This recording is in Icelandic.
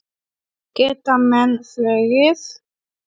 Geta menn flogið?